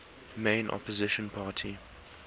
main opposition party